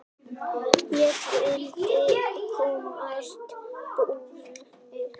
Ég vildi komast burt.